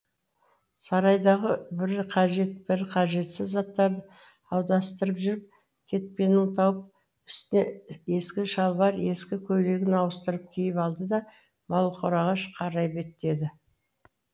сарайдағы бірі қажет бірі қажетсіз заттарды аударыстырып жүріп кетпенін тауып үстіне ескі шалбар ескі көйлегін ауыстырып киіп алды да малқораға қарай беттеді